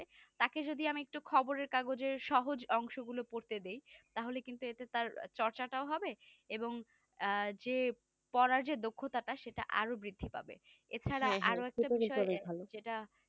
তাকে যদি আমি একটু খবরের কাগজের সহজ অংশগুলো পড়তে দেই তাহলে কিন্তু এতে তার চর্চাটা ও হবে এবং যে পড়ার চেয়ে দক্ষতা সেটা আরো বৃদ্ধি পাবে এছাড়া আরো একটা বিষয় যেটা